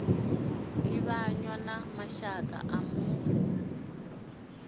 livhanywa na mashaka a mufu